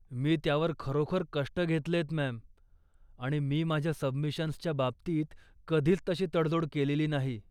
मी त्यावर खरोखर कष्ट घेतलेयत मॅम, आणि मी माझ्या सबमिशन्सच्या बाबतीत कधीच तशी तडजोड केलेली नाही.